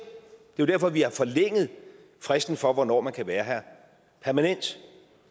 jo derfor vi har forlænget fristen for hvornår man kan være her permanent